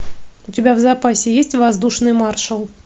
у тебя в запасе есть воздушный маршал